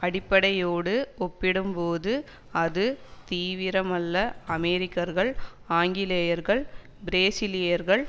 அடிப்படையோடு ஒப்பிடும்போது அது தீவிரமல்லஅமெரிக்கர்கள் ஆங்கிலேயர்கள் பிரேசிலியர்கள்